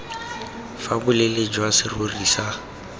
fa boleele jwa serori sa